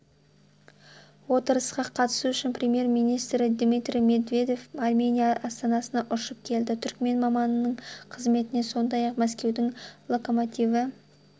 отырысқа қатысу үшін премьер-министрі дмитрий медведев армения астанасына ұшып келді түрікмен маманының қызметіне сондай-ақ мәскеудің локомотиві